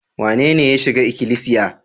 Wanene ya shiga ikilisiya?